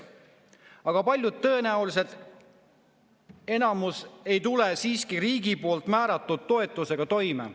Aga paljud tõenäoliselt, enamus, ei tule siiski riigi poolt määratud toetusega toime.